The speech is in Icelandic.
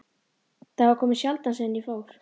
Þau hafa komið sjaldan síðan ég fór.